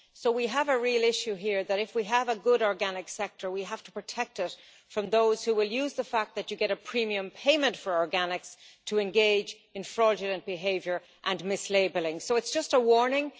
So we have a real issue here that if we have a good organic sector, we have to protect us from those who will use the fact that you get a premium payment for organics to engage in fraudulent behaviour and mislabelling, so it's just a warning.